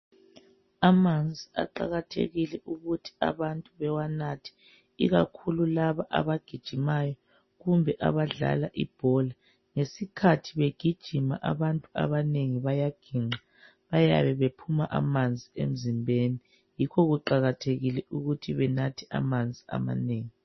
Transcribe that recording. Amanzi aqakathekile ukuthi abantu bewanathe ikakhulu laba abagijimayo kumbe abadlala ibhola. Ngesikhathi begijima abantu abanengi bayagingqa, bayabe bephuma amanzi emzimbeni yikho kuqakathekile ukuthi benathe amanzi amanengi